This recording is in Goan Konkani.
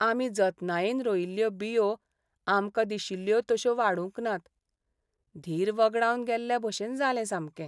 आमी जतनायेन रोयिल्ल्यो बियो आमकां दिशिल्ल्यो तशो वाडूंक नात. धीर वगडावन गेल्लेभशेन जालें सामकें.